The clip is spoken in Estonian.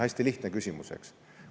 Hästi lihtne küsimus, eks.